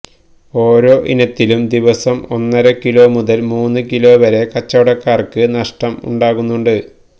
ഓരോ ഇനത്തിലും ദിവസം ഒന്നര കിലോ മുതല് മൂന്നുകിലോ വരെ കച്ചവടക്കാര്ക്ക് നഷ്ടം ഉണ്ടാക്കുന്നുണ്ട്